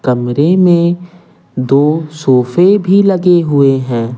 कमरे में दो सोफे भी लगे हुए हैं।